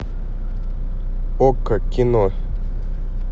окко кино